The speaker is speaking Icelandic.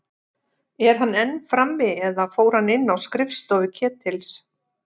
Er hann enn frammi- eða fór hann inn á skrifstofu Ketils?